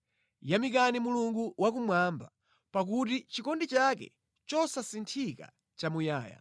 Yamikani Mulungu wakumwamba, pakuti chikondi chake chosasinthika nʼchamuyaya.